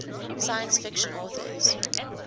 science fiction authors